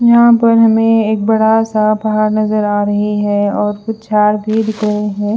यहा पर हमे एक बड़ा सा पहाड़ नजर आ रहे है और कुछ झाड़ भी दिख रहे है।